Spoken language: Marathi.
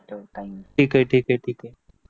ठीके ठीके ठीके